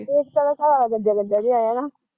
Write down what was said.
ਏਕਤਾ ਦਾ ਘਰਵਾਲਾ ਗੰਜਾ ਗੰਜਾ ਜਿਹਾ ਐ ਹੈਨਾ